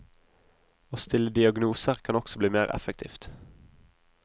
Å stille diagnoser kan også bli mer effektivt.